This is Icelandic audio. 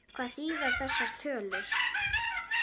En hvað þýða þessar tölur?